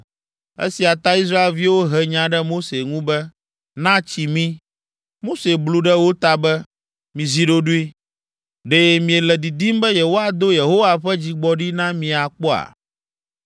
Esia ta Israelviwo he nya ɖe Mose ŋu be, “Na tsi mi!” Mose blu ɖe wo ta be, “Mizi ɖoɖoe! Ɖe miele didim be yewoado Yehowa ƒe dzigbɔɖi na mi akpɔa?”